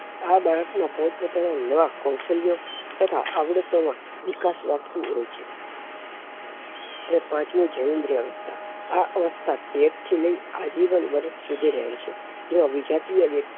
આ બાળક માં પોતપોતાનાં કૌશલ્ય તથા આવળત માં વિકાસ મળે છે અને પાંચમું જયેન્દ્રીઅવસ્થા આ અવસ્થા તેર થી લઇ આજીવન વરસ સુધી રહે છે જેમાં વિજાતીય